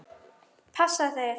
Passa þeir?